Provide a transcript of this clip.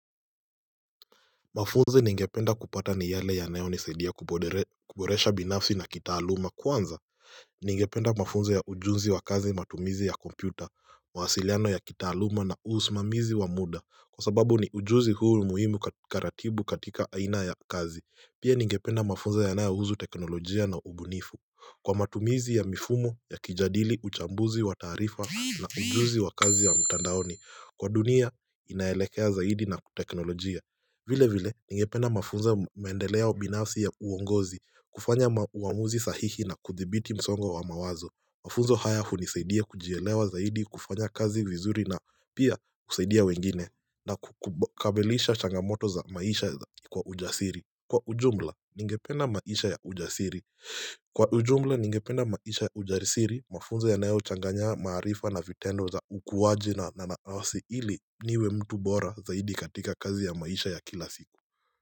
Mafunzi ningependa kupata ni yale yanayonisadia kuboresha binafsi na kitaaluma. Kwanza, ningependa mafunzo ya ujuzi wa kazi matumizi ya kompyuta, mawasiliano ya kitaaluma na usimamizi wa muda. Kwa sababu ni ujuzi huu muhimu karatibu katika aina ya kazi. Pia ningependa mafunzo yanayouhu teknolojia na ubunifu. Kwa matumizi ya mifumo yakijadili uchambuzi wa taarifa na ujuzi wa kazi ya mtandaoni. Kwa dunia, inaelekea zaidi na teknolojia. Vile vile, ningependa mafunzo maendelea binafsi ya uongozi, kufanya ma uamuzi sahihi na kuthibiti msongo wa mawazo. Mafunzo haya hunisaidia kujielewa zaidi kufanya kazi vizuri na pia kusaidia wengine na kukabilisha changamoto za maisha kwa ujasiri. Kwa ujumla, ningependa maisha ya ujasiri. Kwa ujumla ningependa maisha ujarisiri mafunzo yanayochanganya maarifa na vitendo za ukuwaji na naawasi ili niwe mtu bora zaidi katika kazi ya maisha ya kila siku.